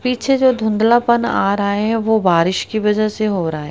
पीछे जो धुंधला पन आ रहा है वो बारिश की वजह से हो रहा--